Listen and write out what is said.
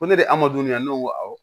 Ko ne de ye adamaden ya ne ko awɔ